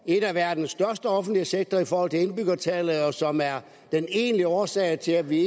en af verdens største offentlige sektorer i forhold til indbyggertal og som er den egentlige årsag til at vi